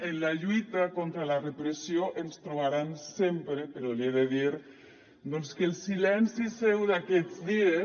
en la lluita contra la repressió ens trobaran sempre però li he de dir doncs que el silenci seu d’aquests dies